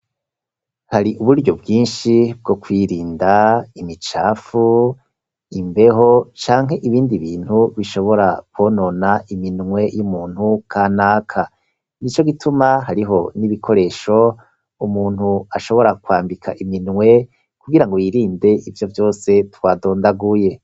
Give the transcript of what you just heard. Hari uburyo bwinshi bwo kwirinda imicafu imbeho canke ibindi bintu bishobora kwonona iminwe y'umuntu kanaka, nico gituma hariho n'ibikoresho umuntu ashobora kwambika iminwe kugirango yirinde ivyo vyose twadondaguye.